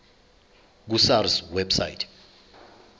ku sars website